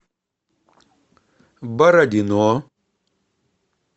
бородино